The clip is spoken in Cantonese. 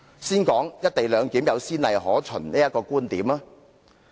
先談談"'一地兩檢'有先例可援"的觀點。